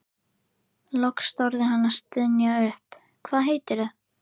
Loks þorði hann að stynja upp: Hvað heitirðu?